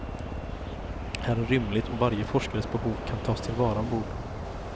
Här är rymligt och varje forskares behov kan tas tillvara ombord.